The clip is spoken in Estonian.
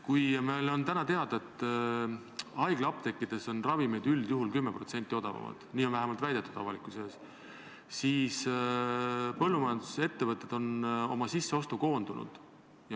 Meil on täna teada, et haiglaapteekides on ravimid üldjuhul 10% odavamad – nii on vähemalt avalikkusele väidetud – ja et põllumajandusettevõtted on sisseostus koondunud.